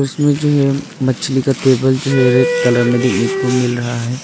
उसमें जो है मछली का टेबल जो है रेड कलर में देखने को मिल रहा है।